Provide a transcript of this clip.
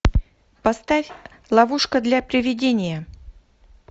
поставь ловушка для привидения